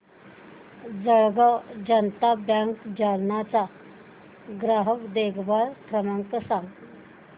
Jalgaon Janata bank Jalna चा ग्राहक देखभाल क्रमांक सांग